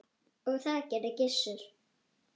Og það gerði Gissur.